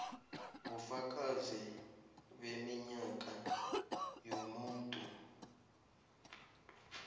bufakazi beminyaka yomuntu